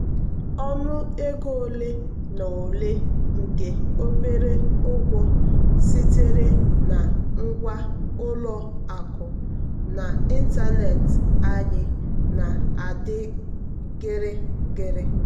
ọnụ ego ole na ole nke obere ụgwọ sitere na ngwa ụlọ akụ n'ịntanetị anyị na-adị gịrịgịrị.